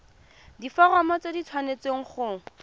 diforomo tse di tshwanesteng go